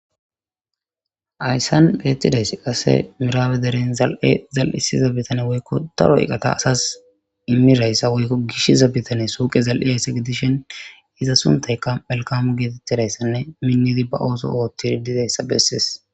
Hayssan beettidaysi qase miraabe deren zal'e zal'isiza bitane woykko daro eqqata asas immirayssa woykko gishiza bitane suuqe zal'iyayssa gidishen iza suntayka melkamu geetettidayssanne minnidi ba ooso oothtiri dizayssa bessees